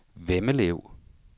Vemmelev